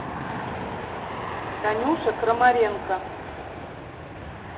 танюша крамаренко